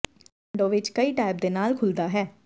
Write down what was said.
ਇੱਕ ਵਿੰਡੋ ਵਿੱਚ ਕਈ ਟੈਬ ਦੇ ਨਾਲ ਖੁੱਲ੍ਹਦਾ ਹੈ